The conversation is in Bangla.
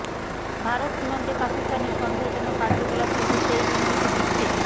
ভারত সীমান্তে পাকিস্তানের সন্দেহজনক কার্যকলাপ কিন্তু সেই ইঙ্গিতই দিচ্ছে